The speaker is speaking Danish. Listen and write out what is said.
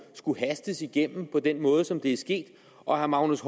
skulle hastes igennem på den måde som det er sket og herre magnus